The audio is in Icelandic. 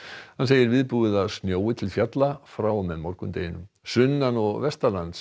hann segir viðbúið að snjói til fjalla frá og með morgundeginum sunnan og